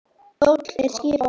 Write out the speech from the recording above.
Kjóll er skip á mar.